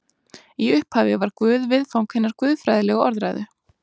í upphafi var guð viðfang hinnar guðfræðilegu orðræðu